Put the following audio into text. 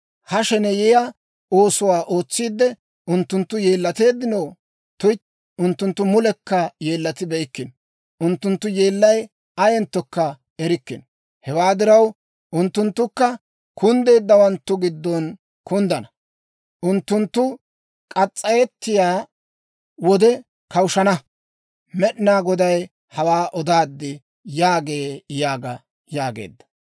Ha sheneyiyaa oosuwaa ootsiide, unttunttu yeellateeddinoo? Tuytti, unttunttu mulekka yeellatibeykkino. Unttunttu yeellay ayenttokka erikkino. Hewaa diraw, unttunttukka kunddeeddawanttu giddon kunddana; unttunttu k'as's'ayettiyaa wode kawushshana. Med'inaa Goday hawaa odaad» yaagee yaaga yaageedda.